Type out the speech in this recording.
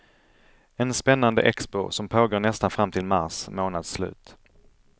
En spännande expo, som pågår nästan fram till mars månads slut.